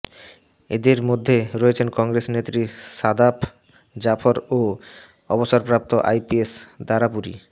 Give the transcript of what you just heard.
এঁদের মধ্য়ে রয়েছেন কংগ্রেস নেত্রী সাদাফ জাফরও ও অবসরপ্রাপ্ত আইপিএস দারাপুরী